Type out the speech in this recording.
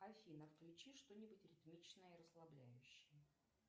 афина включи что нибудь ритмичное и расслабляющее